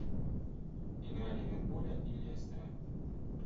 игра ливерпуля и лестера